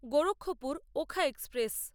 Gorakhpur Okha express